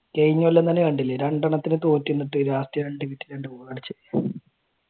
കഴിഞ്ഞ കൊല്ലം തന്നെ കണ്ടില്ലേ രണ്ടെണ്ണത്തിന് തോറ്റു നിന്നിട്ട് last രണ്ടു മിനിറ്റ് രണ്ടു ഗോൾ അടിച്ചത്